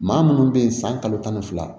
Maa munnu be yen san kalo tan ni fila